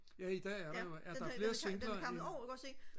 ja i dag er der der er flere singler end